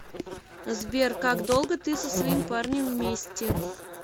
сбер как долго ты со своим парнем вместе